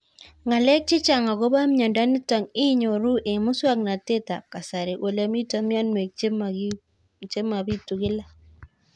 Ng'alek chechang' akopo miondo nitok inyoru eng' muswog'natet ab kasari ole mito mianwek che mapitu kila